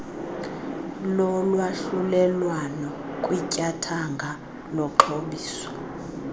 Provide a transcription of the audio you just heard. lolwahlulelwano kwityathanga lokuxhobisa